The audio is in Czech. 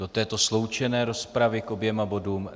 Do této sloučené rozpravy k oběma bodům?